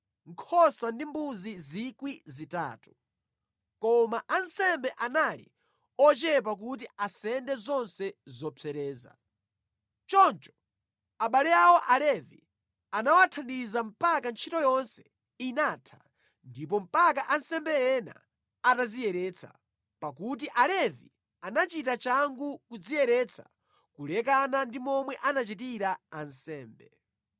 Koma ansembe anali ochepa kuti asende zonse zopsereza. Choncho abale awo Alevi anawathandiza mpaka ntchito yonse inatha ndipo mpaka ansembe ena atadziyeretsa, pakuti Alevi anachita changu kudziyeretsa kulekana ndi momwe anachitira ansembe.